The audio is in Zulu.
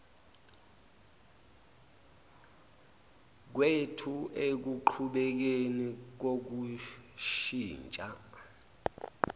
kwethu ekuqhubekeni kokushintsha